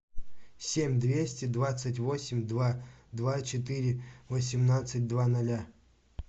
семь двести двадцать восемь два два четыре восемнадцать два ноля